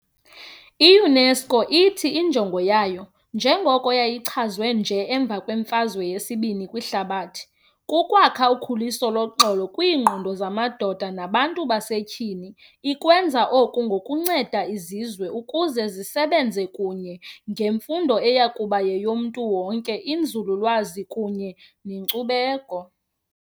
I-UNESCO ithi injongo yayo, njengoko yayichaziwe nje emva kweFazwe yesi-II kwiHlabathi, ku"kwakha ukhuleso loxolo kwiingqondo zamadoda nabantu basetyhini". Ikwenza oku ngokunceda izizwe ukuze zisebenze kunye, ngemfundo eyakuba yeyomntu wonke, inzululwazi, kunye nenkcubeko.